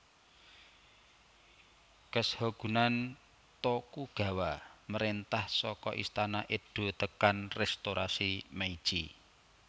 Keshogunan Tokugawa mréntah saka Istana Edo tekan Restorasi Meiji